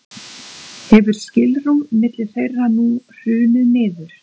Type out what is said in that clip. hefur skilrúm milli þeirra nú hrunið niður